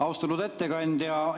Austatud ettekandja!